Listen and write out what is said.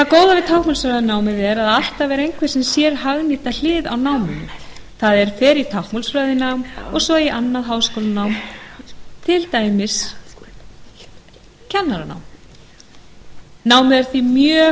góða við táknmálsfræðinámið er að alltaf er einhver sem sér hagnýta hlið á náminu það er fer í táknmálsfræðinám og svo í annað háskólanám til dæmis kennaranám námið er því